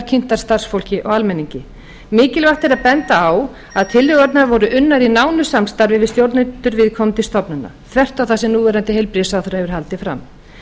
kynntar starfsfólki og almenningi mikilvægt er að benda á að tillögurnar voru unnar í nánu samstarfi við stjórnendur viðkomandi stofnana þvert á það sem núverandi heilbrigðisráðherra hefur haldið fram